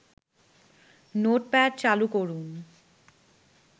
notepad চালু করুন